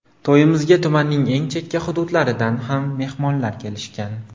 To‘yimizga tumanning eng chekka hududlaridan ham mehmonlar kelishgan.